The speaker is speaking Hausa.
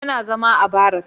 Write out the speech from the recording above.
Yana zama a barak